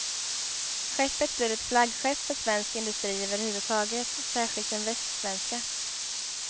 Skeppet blir ett flaggskepp för svensk industri överhuvudtaget, särskilt den västsvenska.